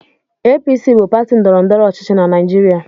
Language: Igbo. APC bụ pati ndọrọndọrọ ọchịchị na Naịjirịa.